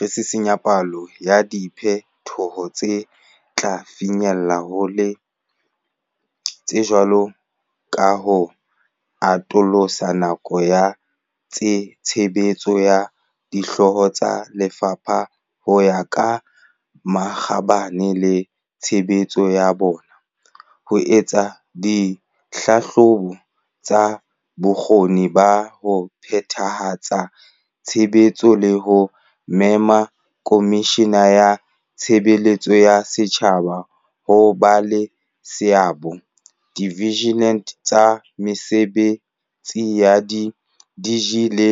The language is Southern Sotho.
Re sisinya palo ya diphe toho tse tla finyellang hole, tse jwalo ka ho atolosa nako ya tshebetso ya Dihlooho tsa Lefapha ho ya ka makgabane le tshebetso ya bona, ho etsa dihlahlobo tsa bokgoni ba ho phethahatsa tshebetso le ho mema Komishini ya Tshe beletso ya Setjhaba ho ba le seabo diinthaviung tsa mese betsi ya di-DG le